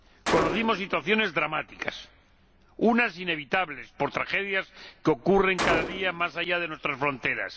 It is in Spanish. Conocimos situaciones dramáticas unas inevitables, por tragedias que ocurren cada día más allá de nuestras fronteras